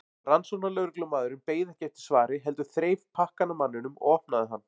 Rannsóknarlögreglumaðurinn beið ekki eftir svari heldur þreif pakkann af manninum og opnaði hann.